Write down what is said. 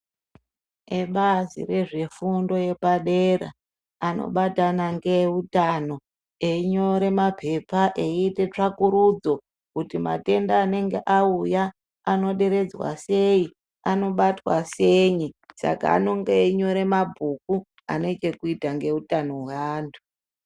Eebazi rezvefundo yepadera, anobatana ngeeutano, einyore maphepha eiite tsvakurudzo, kuti matenda anenge auya, anoderedzwa sei, anobatwa sei, saka anonyore mabhuku ,ane chekuita ngeutano hweantu.